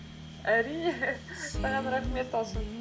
әрине саған рахмет талшын